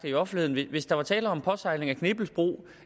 i offentligheden at hvis der havde været tale om en påsejling af knippelsbro